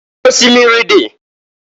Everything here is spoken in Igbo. Osimiri dị.